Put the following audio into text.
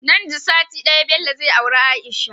Nan da sati daya Bello zai aure aisha